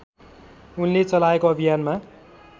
उनले चलाएको अभियानमा